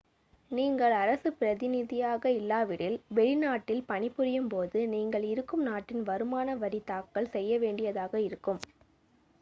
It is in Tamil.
நீங்கள் அரசு பிரதிநிதியாக இல்லாவிடில் வெளிநாட்டில் பணிபுரியும்போது நீங்கள் இருக்கும் நாட்டின் வருமான வரி தாக்கல் செய்யவேண்டியதாக இருக்கும்